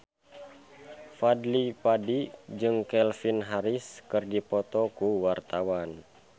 Fadly Padi jeung Calvin Harris keur dipoto ku wartawan